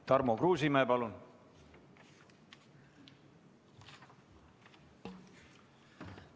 Tarmo Kruusimäe, palun!